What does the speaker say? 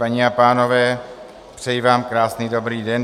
Paní a pánové, přeji vám krásný dobrý den.